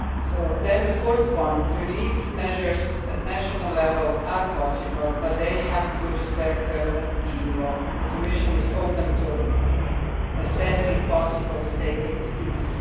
Regarding the fourth point, relief measures at national level are possible but they have to respect the relevant EU law. The Commission is open to assessing possible state aid schemes.